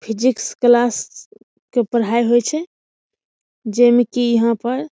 physics class के पढ़ाई होय छै जे मे की यहाँ पर --